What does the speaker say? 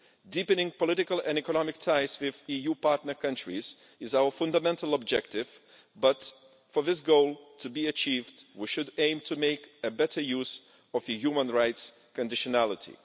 Deepening political and economic ties with EU partner countries is our fundamental objective, but for this goal to be achieved we should aim to make better use of the human rights conditionality.